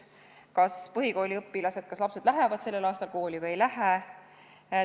Kas põhikooliõpilased, lapsed lähevad sellel aastal kooli või ei lähe?